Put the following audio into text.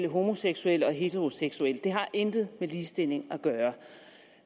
homoseksuelle og heteroseksuelle det har intet med ligestilling